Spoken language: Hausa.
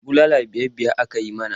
Bulala biyar-biyar aka yi mana.